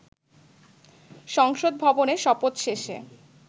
সংসদ ভবনে, শপথ শেষে